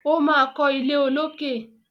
O ma kọ ilé olókè.